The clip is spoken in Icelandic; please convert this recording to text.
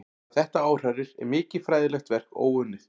Hvað þetta áhrærir er mikið fræðilegt verk óunnið.